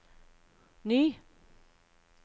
ny